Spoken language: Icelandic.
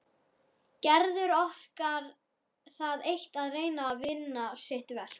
Gerður orkar það eitt að reyna að vinna sitt verk.